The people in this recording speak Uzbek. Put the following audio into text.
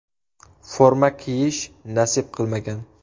Forma kiyish nasib qilmagan.